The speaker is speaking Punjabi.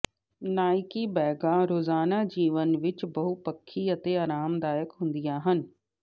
ਨਾਈਕੀ ਬੈਗਾਂ ਰੋਜ਼ਾਨਾ ਜੀਵਨ ਵਿੱਚ ਬਹੁਪੱਖੀ ਅਤੇ ਆਰਾਮਦਾਇਕ ਹੁੰਦੀਆਂ ਹਨ